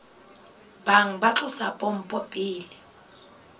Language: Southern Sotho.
bang ba tlosa pompo pele